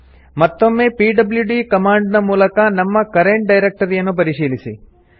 ಮತ್ತೊಮ್ಮೆ PWD command ನ ಮೂಲಕ ನಮ್ಮ ಕರೆಂಟ್ ಡೈರೆಕ್ಟರಿಯನ್ನು ಪರಿಶೀಲಿಸಿ